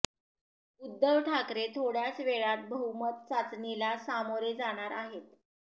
उद्धव ठाकरे थोड्याच वेळात बहुमत चाचणीला सामोरे जाणार आहेत